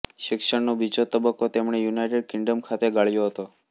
શિક્ષણનો બીજો તબક્કો તેમણે યુનાઇટેડ કિંગ્ડમ ખાતે ગાળ્યો હતો